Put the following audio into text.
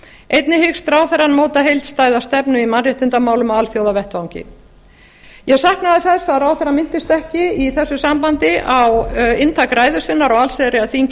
einnig hyggst ráðherrann móta heildstæða stefnu í mannréttindamálum á alþjóðavettvangi ég sakna þess að ráðherrann minntist ekki í þessu sambandi á inntak ræðu sinnar á allsherjarþingi